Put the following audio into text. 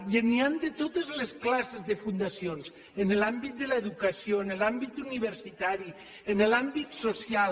i n’hi ha de totes les classes de fundacions en l’àmbit de l’educació en l’àmbit universitari en l’àmbit social